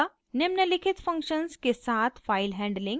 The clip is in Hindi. निम्नलिखित फंक्शन्स के साथ फाइल हैंडलिंग: